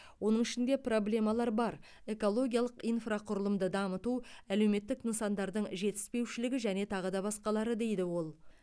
оның ішінде проблемалар бар экологиялық инфрақұрылымды дамыту әлеуметтік нысандардың жетіспеушілігі және тағы да басқалары дейді ол